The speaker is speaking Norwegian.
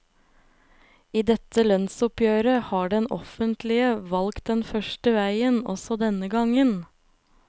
I dette lønnsoppgjeret har det offentlege valt den første vegen, også denne gongen.